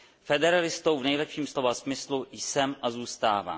Federalistou v nejlepším slova smyslu jsem a zůstávám.